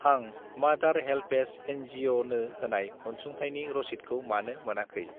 आं मादार HelpAge NGO. नो होनाय अनसुंथायनि रसिदखौ मानो मोनाखै?